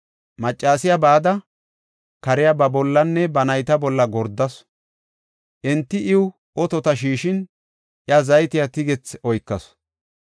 Maccasiya bada, kariya ba bollanne ba nayta bolla gordasu. Enti iw otota shiishin, iya zaytiya tigethi oykasu.